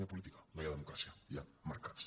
no hi ha política no hi ha democràcia hi ha mercats